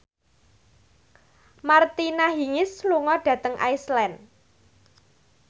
Martina Hingis lunga dhateng Iceland